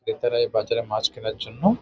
ভেতরে এই বাচ্চাটা মাছ কেনার জন্য-ও--